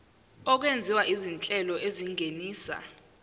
okwenziwa izinhlelo ezingenisa